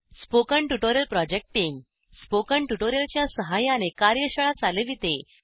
spoken tutorial project team spoken tutorial च्या सहाय्याने कार्यशाळा चालविते